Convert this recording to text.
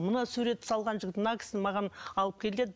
мына суретті салған жігіт мына кісіні маған алып кел деді